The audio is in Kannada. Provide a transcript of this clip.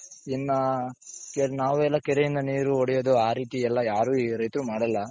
ಇನ್ನ ನಾವೆಲ್ಲಾ ಕೆರೆಯಿಂದ ನೀರು ಒಡೆಯೋದು ಆ ರೀತಿ ಎಲ್ಲಾ ಯಾರು ರೈತರು ಮಾಡೋಲ್ಲ.